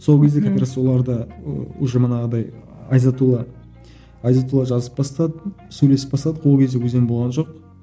сол кезде как раз оларды ы уже манағыдай азиятулла азиятулла жазып бастады сөйлесіп бастадық ол кезде өзен болған жоқ